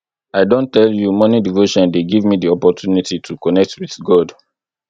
i don tell you morning devotion dey give me di opportunity to connect wit god